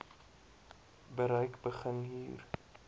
bereik begin hier